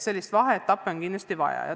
Sellist vaheetappi on kindlasti vaja.